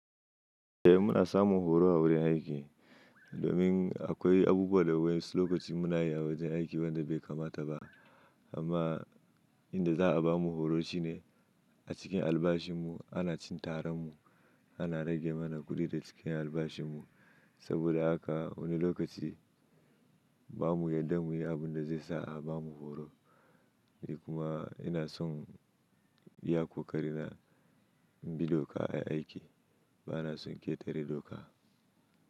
Eh muna samun horo a wurin aiki. Domin akwai abubuwa da waƴansu lokaci muna yi a wajen aiki wanda bai kamata ba, amma inda za a bamu horo shine, a cikin albashin mu, ana cin tarar mu ana rage mana kuɗi da cikin albashin mu. Saboda haka wani lokaci bamu yadda mu yi abunda zai sa a, bamu horo. Kuma ina son, iya ƙoƙari na bi doka a aiki. Bana son ƙetare doka.